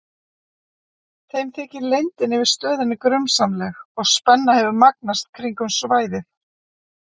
Þeim þykir leyndin yfir stöðinni grunsamleg og spenna hefur magnast kringum svæðið.